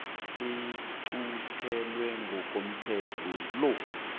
iquntelwe ngokomthetho lo